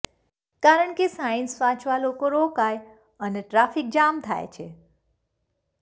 કારણ કે સાઇન્સ વાંચવા લોકો રોકાય અને ટ્રાફિકજામ થાય છે